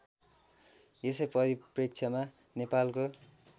यसै परिप्रेक्ष्यमा नेपालको